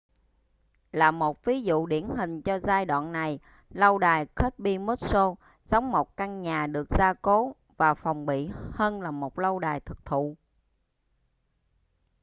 là một ví dụ điển hình cho giai đoạn này lâu đài kirby muxloe giống một căn nhà được gia cố và phòng bị hơn là một lâu đài thực thụ